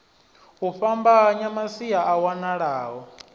u fhambanya masia a wanalaho